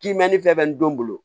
Kimɛni fɛ bɛ n don